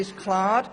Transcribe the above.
Das ist klar.